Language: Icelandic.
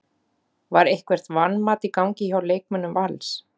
Var eitthvert vanmat í gangi hjá leikmönnum Vals?